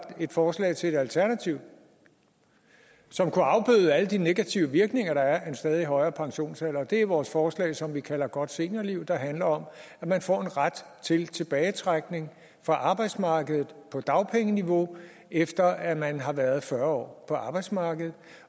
et forslag til et alternativ som kunne afbøde alle de negative virkninger der er af en stadig højere pensionsalder det er vores forslag som vi kalder godt seniorliv der handler om at man får en ret til tilbagetrækning fra arbejdsmarkedet på dagpengeniveau efter at man har været fyrre år på arbejdsmarkedet